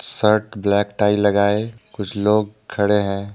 Shirt black tie लगाये कुछ लोग खड़े हैं।